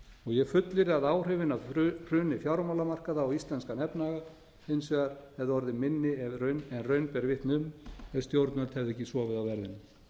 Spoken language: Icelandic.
ég fullyrði að áhrifin af hruni fjármálamarkaða á íslenskan efnahag hins vegar hefði orðið minni en raun ber vitni um ef stjórnvöld hefðu ekki sofið á verðinum